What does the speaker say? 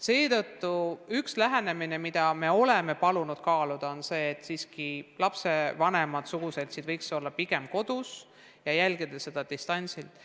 Seetõttu oleme palunud kaaluda võimalust, et lapsevanemad ja suguseltsid võiks olla pigem kodus ja jälgida seda distantsilt.